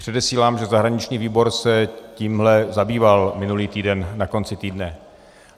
Předesílám, že zahraniční výbor se tímhle zabýval minulý týden, na konci týdne.